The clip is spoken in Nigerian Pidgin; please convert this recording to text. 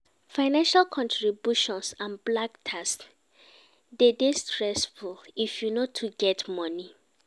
Financial contributions and black tax de dey stessfull if you no too get money